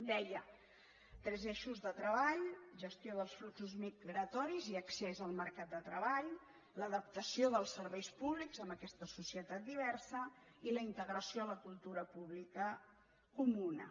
deia tres eixos de treball gestió dels fluxos migratoris i accés al mercat de treball l’adaptació dels serveis públics en aquesta societat diversa i la integració a la cultura pública comuna